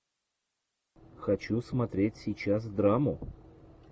хочу смотреть сейчас драму